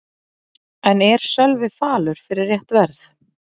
En er Sölvi falur fyrir rétt verð?